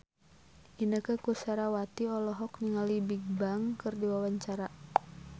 Inneke Koesherawati olohok ningali Bigbang keur diwawancara